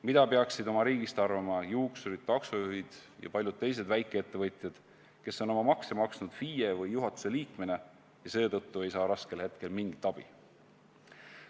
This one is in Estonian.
Mida peaksid oma riigist arvama juuksurid, taksojuhid ja paljud teised väikeettevõtjad, kes on oma makse maksnud FIE või juhatuse liikmena ja seetõttu ei saa raskel hetkel mingit abi?